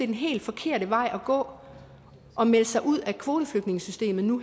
den helt forkerte vej at gå at melde sig ud af kvoteflygtningesystemet nu